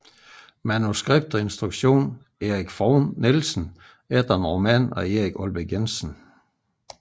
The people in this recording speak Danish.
Manuskript og instruktion Erik Frohn Nielsen efter en roman af Erik Aalbæk Jensen